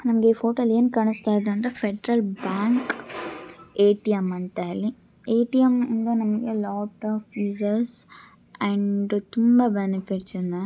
ನಂಗೆ ಈ ಫೋಟೋ ಅಲ್ ಏನ್ ಕಾಣಿಸ್ತಾ ಇದೆ ಅಂದ್ರೆ ಫೆಡರಲ್ ಬ್ಯಾಂಕ್ ಎ.ಟಿ.ಎಂ. ಅಂತ ಹೇಳಿ. ಎ.ಟಿ.ಎಂ. ಇಂದ ನಮಗೆ ಲಾಟ್ ಆಫ್ ಯೂಸೆಸ್ ಅಂಡ್ ತುಂಬಾ ಬೆನಿಫಿಟ್ಸ್ ಇದೆ.